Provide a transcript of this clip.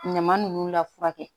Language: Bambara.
Ɲama nunnu lafu